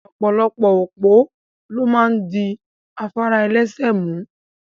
Opolopo opo lo maa n di afara elese mu